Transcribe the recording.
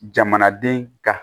Jamanaden ka